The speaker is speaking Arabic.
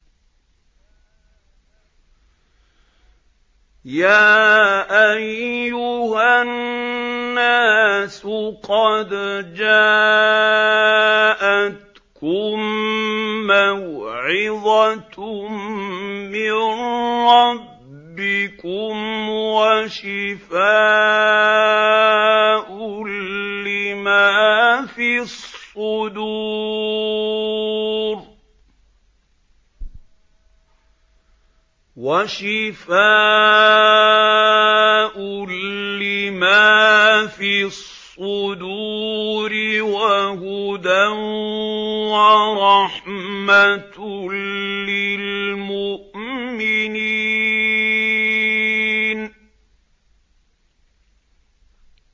يَا أَيُّهَا النَّاسُ قَدْ جَاءَتْكُم مَّوْعِظَةٌ مِّن رَّبِّكُمْ وَشِفَاءٌ لِّمَا فِي الصُّدُورِ وَهُدًى وَرَحْمَةٌ لِّلْمُؤْمِنِينَ